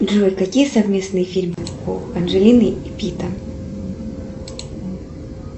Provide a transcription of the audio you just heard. джой какие совместные фильмы у анджелины и питта